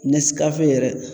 Nɛskafe yɛrɛ.